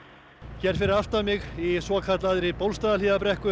hér fyrir aftan mig í svokallaðri